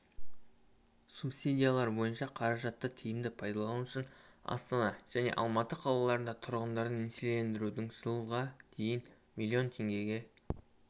субсидиялар бойынша қаражатты тиімді пайдалану үшін астана және алматы қалаларында тұрғындарды несиелендірудің жылға дейін млн теңгеге